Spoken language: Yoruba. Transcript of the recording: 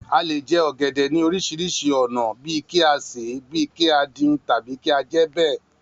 A lè jẹ ọ̀gẹ̀dẹ̀ ní oríṣiríṣi ònà bíí kí á ṣèé, bí kí á dín, tàbí kí á jẹẹ́ bẹ̀.